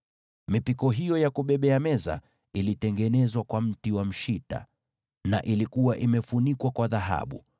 Mipiko hiyo ya kubebea meza ilitengenezwa kwa mti wa mshita, na ilikuwa imefunikwa kwa dhahabu.